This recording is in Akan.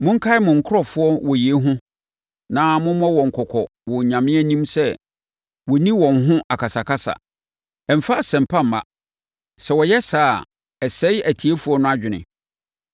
Monkae mo nkurɔfoɔ wɔ yei ho na mommɔ wɔn kɔkɔ wɔ Onyame anim sɛ wɔnnni wɔn ho akasakasa. Ɛmfa asɛm pa mma. Sɛ wɔyɛ saa a, ɛsɛe atiefoɔ no adwene.